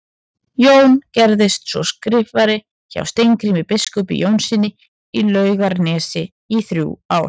Jón gerðist svo skrifari hjá Steingrími biskupi Jónssyni í Laugarnesi í þrjú ár.